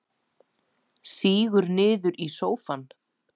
Sígur niður í sófann.